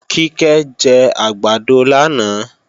Kíkẹ́ jẹ àgbàdo lánàá